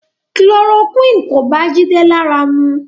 Chloroquine kò bá Jide lára mu